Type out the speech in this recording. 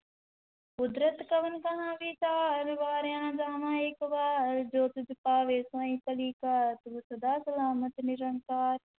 ਕੁਦਰਤਿ ਕਵਣ ਕਹਾ ਵੀਚਾਰੁ, ਵਾਰਿਆ ਨਾ ਜਾਵਾ ਏਕ ਵਾਰ, ਜੋ ਤੁਧੁ ਭਾਵੈ ਸਾਈ ਭਲੀ ਕਾਰ, ਤੂੰ ਸਦਾ ਸਲਾਮਤਿ ਨਿਰੰਕਾਰ,